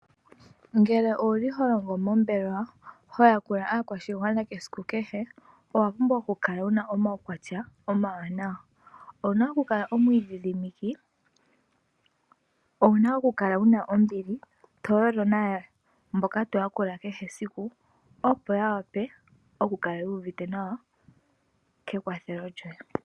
Ngele oho longo mombelewa ho yakula aakwashina esiku kehe owa pumbwa okukala wu na omaukwatya omawanawa. Owu na okukala omwiidhidhiki, owu na okukala wu na ombili, to yolo naantu mboka to yakula kehe esiku, opo ya wape okukala yu uvite nawa kekwathelo lyoye.